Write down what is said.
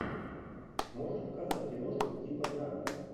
можешь показать киношку типа драмы